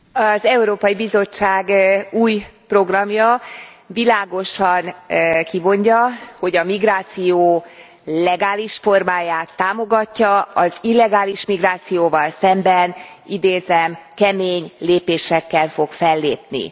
Az Európai Bizottság új programja világosan kimondja, hogy a migráció legális formáját támogatja, az illegális migrációval szemben idézem kemény lépésekkel fog fellépni.